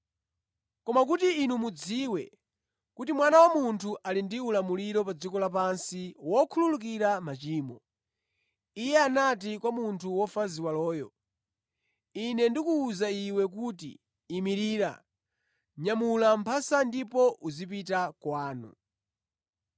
Koma kuti inu mudziwe kuti Mwana wa Munthu ali ndi ulamuliro pa dziko lapansi wokhululukira machimo, Iye anati kwa munthu wofa ziwaloyo, “Ine ndikuwuza iwe kuti, ‘Imirira, nyamula mphasa ndipo uzipita kwanu.’ ”